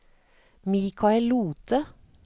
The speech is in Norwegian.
Michael Lothe